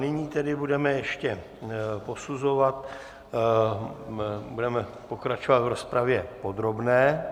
Nyní tedy budeme ještě posuzovat, budeme pokračovat v rozpravě podrobné.